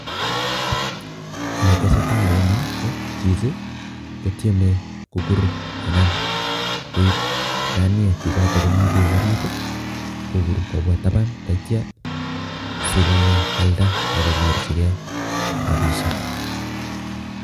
Kiit ne tesetai eng yu, ko chichi kotieme kokuur anan koip nganiek chechoto komi beek ariit, kokuur kobwa taban teityo sikoalda ako nyorchikei rapishiek.